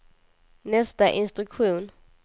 nästa instruktion